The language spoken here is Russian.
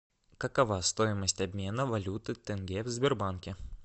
какова стоимость обмена валюты тенге в сбербанке